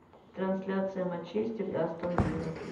трансляция манчестер и астон вилла